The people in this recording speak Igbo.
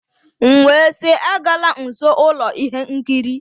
M wee sị, agala nso ụlọ ihe nkiri!.